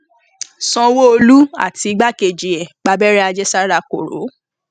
sanwóolu àti igbákejì ẹ gbábẹrẹ àjẹsára koro